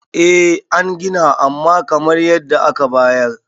eh an Gina amma kamar yadda aka bayar